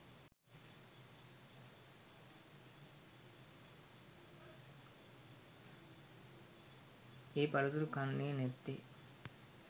ඒ පළතුරු කන්නෙ නැත්තෙ?